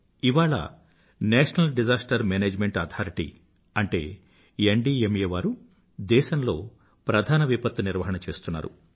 ఇవాళ national disaster management authority అనగా NDMA వారు దేశంలో ప్రధాన విపత్తు నిర్వహణ చేస్తున్నారు